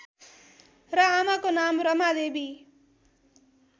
र आमाको नाम रमादेवी